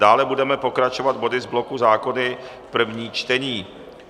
Dále budeme pokračovat body z bloku zákony první čtení.